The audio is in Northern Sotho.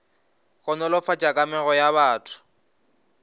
go nolofatša kamego ya batho